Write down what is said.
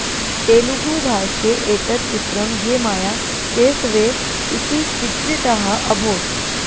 तेलुगु भाषे एतत् चित्रम् ये माया चेसवे इति चित्रितः अभोत्